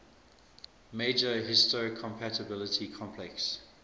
major histocompatibility complex